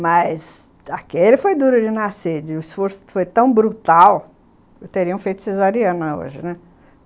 Mas aquele foi duro de nascer, o esforço foi tão brutal que eu teria um feito cesariano hoje, né?